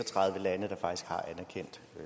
år